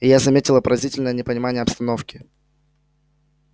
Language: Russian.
и я заметила поразительное непонимание обстановки